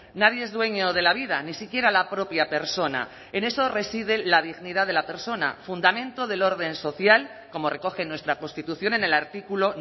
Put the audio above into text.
nadie es dueño de la vida ni siquiera la propia persona en eso reside la dignidad de la persona fundamento del orden social como recoge nuestra constitución en el artículo